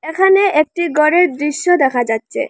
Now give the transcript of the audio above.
এখানে একটি ঘরের দৃশ্য দেখা যাচ্ছে।